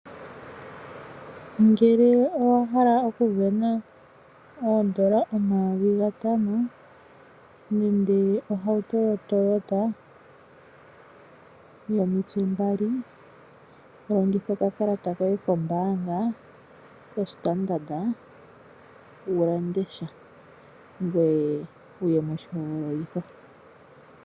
Ngele owa hala okuvena oondola omayovi gatano nenge oshitukutuku shoToyota yomitse mbali, longitha okakalata koye kombaanga yoStandard ngoye wuye moshihogololitho.